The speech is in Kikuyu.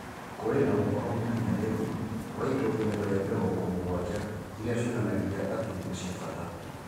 Kũrĩ na ũhoro mũkinyanĩru wa indo igana rĩa mĩrongo mũgwanja iria cionanagia atĩ nĩ cia bata.